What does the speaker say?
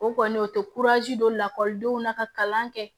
O kɔni o tɛ don lakɔlidenw na ka kalan kɛ